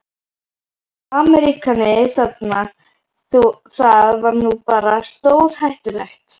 Ameríkani þarna, það var nú bara stórhættulegt.